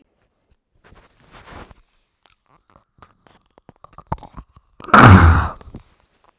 Mögnuð stund og falleg.